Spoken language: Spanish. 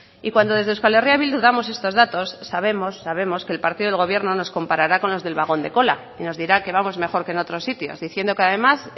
y cuando desde euskal herria bildu damos estos datos sabemos sabemos que el partido del gobierno nos comparará con los del vagón de cola nos dirá que vamos mejor que en otros sitios diciendo que además